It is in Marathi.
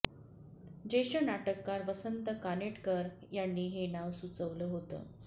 ज्येष्ठ नाटककार वसंत कानेटकर यांनी हे नाव सुचवलं होतं